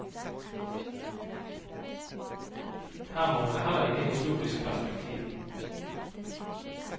Her mangler heller ikke historisk perspektiv.